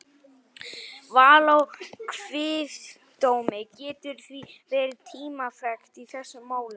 Val á kviðdómi getur því verið tímafrekt í þessum málum.